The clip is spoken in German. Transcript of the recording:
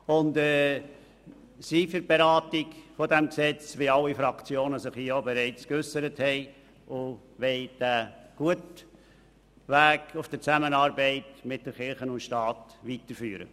Wir sind für die Beratung dieses Gesetzes und wollen diesen guten Weg der Zusammenarbeit zwischen Kirche und Staat fortsetzen.